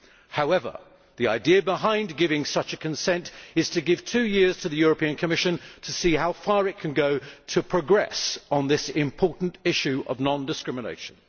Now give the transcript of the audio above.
However, the idea behind giving such consent is to give two years to the Commission to see how far it can go in making progress on this important issue of non discrimination.